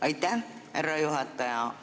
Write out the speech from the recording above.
Aitäh, härra juhataja!